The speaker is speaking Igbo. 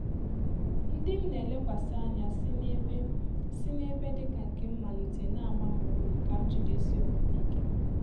Ndị m na elekwasi ànyà si n’ebe si n’ebe dị ka nke m malite n'agba m ume ka m jidesie onwe m íké